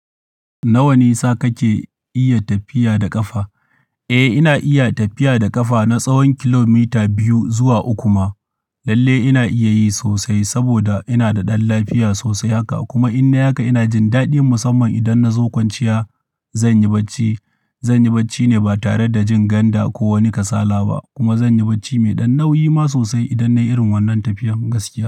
Na wani sa kake iya tafiya da ƙafa? Eh, ina iya tafiya da ƙafa na tsawon kilomita biyu zuwa uku ma. Lalle ina iya yi sosai saboda ina da ɗan lafiya sosai haka. Kuma in na haka ina jin daɗi musamman idan na zo kwanciya. Zan yi bacci, zan yi bacci ne ba tare da jin ganda ko wani kasala ba. Kuma zan yi bacci mai ɗan nauyi ma sosai idan na yi irin wannan tafiyar gaske.